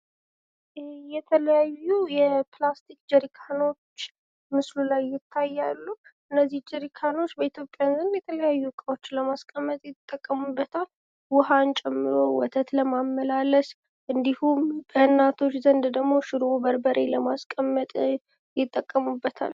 ይህ የተለያዩ የፕላስቲክ ጀርካኖች ምስሉ ላይ ይታያሉ ። እነዚህ ጀርካኖች በኢትዮጵያን ዘንድ የተለያዩ እቃዎች ለማስቀመጥ ይጠቀሙበታል ። ውሃን ጨምሮ ወተት ለማመላለስ እንዲሁም በእናቶች ዘንድ ደግሞ ሽሮ በርበሬ ለማስቀመጥ ይጠቀሙበታል ።